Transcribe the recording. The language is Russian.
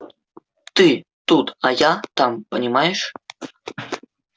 ты тут а я там понимаешь